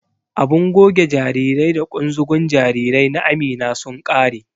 Abun goge jarirai da ƙunzugun jarirai na Amina sun ƙare.